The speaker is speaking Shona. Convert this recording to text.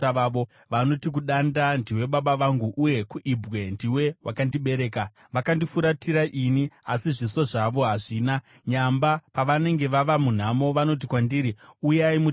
Vanoti kudanda, ‘Ndiwe baba vangu,’ uye kuibwe, ‘Ndiwe wakandibereka.’ Vakandifuratira ini asi zviso zvavo hazvina, nyamba pavanenge vava munhamo, vanoti kwandiri, ‘Uyai mutiponese!’